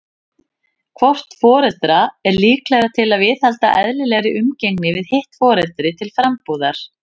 Hvort foreldra er líklegra til að viðhalda eðlilegri umgengni við hitt foreldri til frambúðar?